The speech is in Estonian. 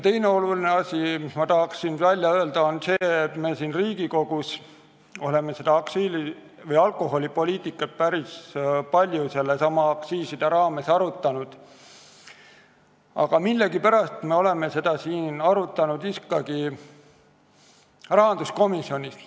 Teine oluline asi, mis ma tahan öelda, on see, et me siin Riigikogus oleme alkoholipoliitikat päris palju just aktsiiside raames arutanud, aga millegipärast oleme seda arutanud ikkagi rahanduskomisjonis.